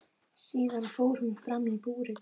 Síðan fór hún fram í búrið.